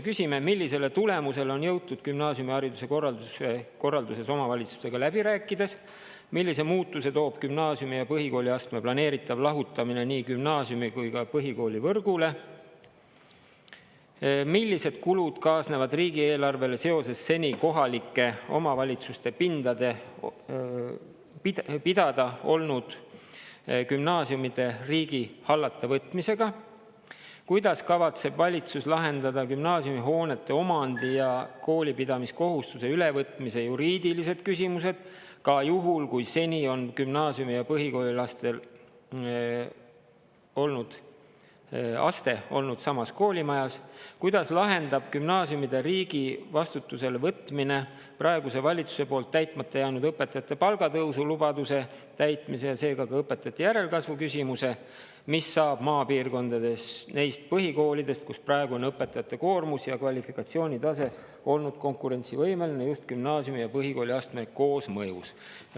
Küsime, millisele tulemusele on jõutud gümnaasiumihariduse korralduses omavalitsustega läbi rääkides; millise muutuse toob gümnaasiumi- ja põhikooliastme planeeritav lahutamine nii gümnaasiumi- kui ka põhikoolivõrgule; millised kulud kaasnevad riigieelarvele seoses seni kohalike omavalitsuste pidada olnud gümnaasiumide riigi hallata võtmisega; kuidas kavatseb valitsus lahendada gümnaasiumihoonete omandi ja koolipidamiskohustuse ülevõtmise juriidilised küsimused, ka juhul, kui seni on gümnaasiumi- ja põhikooliaste olnud samas koolimajas; kuidas lahendab gümnaasiumide riigi vastutusele võtmine praeguse valitsuse poolt täitmata jäänud õpetajate palgatõusu lubaduse täitmise ja seega ka õpetajate järelkasvu küsimuse; mis saab maapiirkondades neist põhikoolidest, kus praegu on õpetajate koormus ja kvalifikatsiooni tase olnud konkurentsivõimeline just gümnaasiumi- ja põhikooliastme koosmõjus.